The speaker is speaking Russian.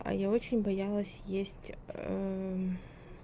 а я очень боялась есть